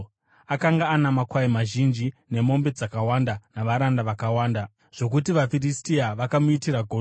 Akanga ana makwai mazhinji nemombe dzakawanda navaranda vakawanda zvokuti vaFiristia vakamuitira godo.